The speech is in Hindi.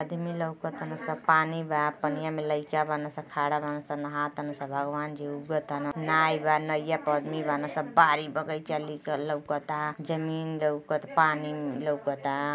आदमी लउक ताड़न स पानी बा पनिया में लइका बाड़न स खड़ा बाड़न सा नहा ताडन स भगवान जी ऊग ताड़न नाय बा नैया पे आदमी बाड़न स बाड़ी बगीचा लउकता जमीन लउकता पानी लउकता।